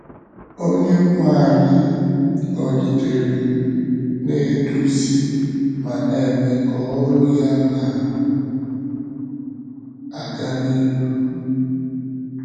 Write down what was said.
Onyenwe anyị nọgidere na - eduzi ma na - eme ka ọrụ ya na - aga n’ihu.